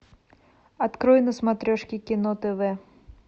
открой на смотрешке кино тв